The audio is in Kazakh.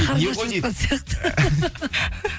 қарны ашып жатқан сияқты